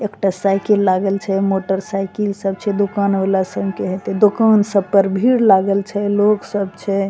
एक टा साइकिल लागल छे मोटरसाइकिल सब छे दुकान वाला सब के हेते दुकान सब पर भीड़ लागल छे लोग सब छे।